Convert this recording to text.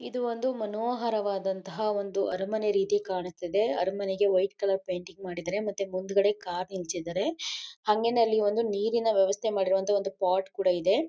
ಇದು ಒಂದು ಮನೋಹರವಾದಂತಹ ಅರಮನೆ ರೀತಿ ಕಾಣಿಸ್ತಿದೆ ಅರಮನೆಗೆ ವೈಟ್ ಕಲರ್ ಪೇಂಟಿಂಗ್ ಮಾಡಿದ್ದಾರೆ ಮತ್ತೆ ಮುಂದುಗಡೆ ಕಾರ್ ನಿಲ್ಸಿದ್ದಾರೆ. ಹಂಗೆನೇ ಅಲ್ಲಿ ಒಂದು ನೀರಿನ ವ್ಯವಸ್ಥೆ ಮಾಡಿರುವಂತಹ ಒಂದು ಪಾಟ್ ಕೂಡ ಇದೆ.